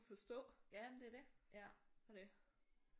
Forstå og det